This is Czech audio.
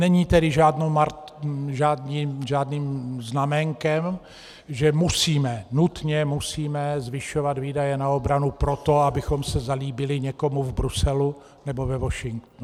Není tedy žádným znaménkem, že musíme, nutně musíme, zvyšovat výdaje na obranu proto, abychom se zalíbili někomu v Bruselu nebo ve Washingtonu.